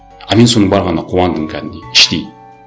а мен соның барғанына қуандым кәдімгідей іштей